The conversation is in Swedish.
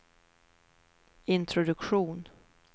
introduktion